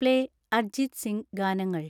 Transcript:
play Arijit Singh ഗാനങ്ങൾ